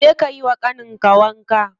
Je ka yiwa ƙanin ka wanka.